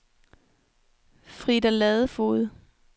Frida Ladefoged